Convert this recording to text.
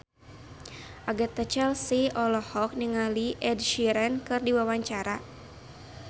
Agatha Chelsea olohok ningali Ed Sheeran keur diwawancara